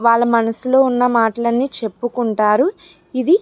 వాళ్ళ మనసులో ఉన్న మాటలు అన్ని చెప్పుకుంటారు. ఇది --